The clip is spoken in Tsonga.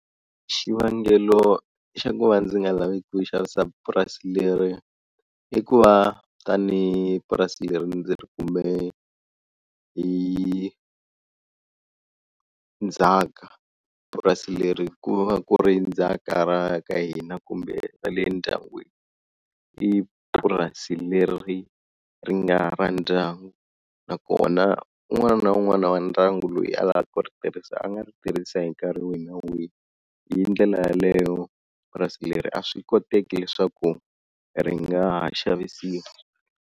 Xivangelo xa ku va ndzi nga lavi ku xavisa purasi leri i ku va tani purasi leri ndzi ri kume hi ndzhaka, purasi leri ku va ku ri ndzhaka ra ka hina kumbe ra le ndyangwini i purasi leri ri nga ra ndyangu na ku kona un'wana na un'wana wa ndyangu loyi a lavaka ku ri tirhisa a nga ri tirhisa hi nkarhi wihi na wihi, hi ndlela yaleyo purasi leri a swi koteki leswaku ri nga xavisiwa.